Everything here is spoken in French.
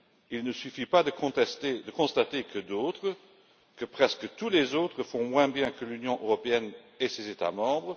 Il ne suffit pas de constater que d'autres presque tous les autres font moins bien que l'Union européenne et ses États membres.